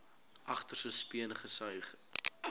agterste speen gesuig